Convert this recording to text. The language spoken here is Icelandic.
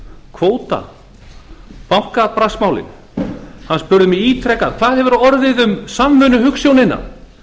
kvótann bankabraskmálin hann spurði mig ítrekað hvað hefur orðið um samvinnuhugsjónina